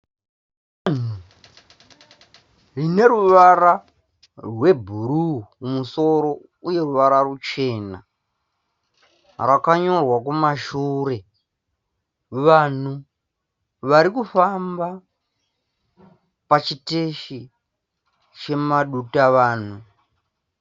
Dutavanhu rineruvara rwebhuruu kumusoro uye ruvara ruchena. Rakakanyorwa kumashure. Vanhu varikufamba pachiteshi chemadutavanhu.